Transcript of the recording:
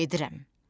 Gedirəm!